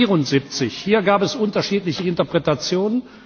174. Hier gab es unterschiedliche Interpretationen.